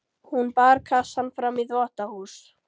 Hún bar kassann fram í þvottahús.